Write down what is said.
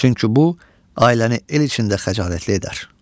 Çünki bu ailəni el içində xəcalətli edər.